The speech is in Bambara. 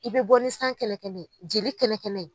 I bɛ bɔ ni kɛnɛkɛ ye jeli kɛnɛkɛ ye.